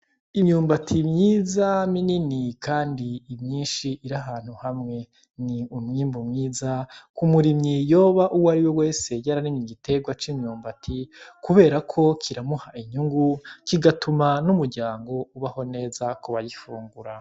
Imyumbati myiza minini kandi myinshi iri ahantu hamwe ni umwimbu mwiza k'umurimyi yoba uwariwe wese yararimye igitegwa c'imyumbati kubera ko kiramuha inyungu kigatuma n' umuryango ubaho neza kubayifungura.